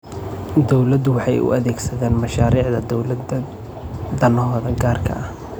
Dadku waxay u adeegsadaan mashaariicda dawladda danahooda gaarka ah.